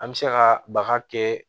An bɛ se ka baga kɛ